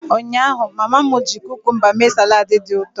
Ụnyaahụ, mama m ji cucumba mee salad dị ụtọ.